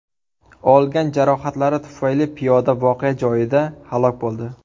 Olgan jarohatlari tufayli piyoda voqea joyida halok bo‘ldi.